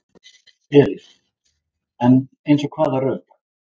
Elín: En eins og hvaða rök?